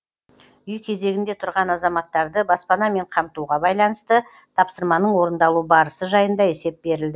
үй кезегінде тұрған азаматтарды баспанамен қамтуға байланысты тапсырманың орындалу барысы жайында есеп берілді